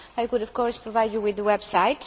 I could of course provide you with the website.